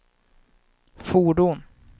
fordon